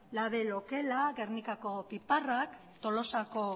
label okela gernikako piperrak tolosako